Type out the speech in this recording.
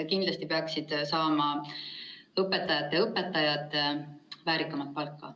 Kindlasti peaksid õpetajate õpetajad saama väärikamat palka.